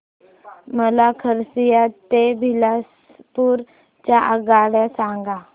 मला खरसिया ते बिलासपुर च्या आगगाड्या सांगा